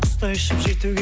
құстай ұшып жетуге